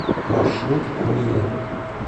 маршрут миля